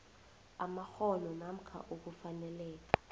amakghono namkha ukufaneleka